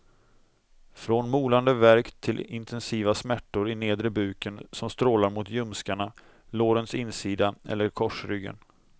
Från molande värk till intensiva smärtor i nedre buken som strålar mot ljumskarna, lårens insida eller korsryggen.